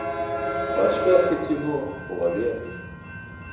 поставь ка кино пловец